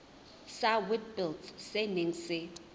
sa witblits se neng se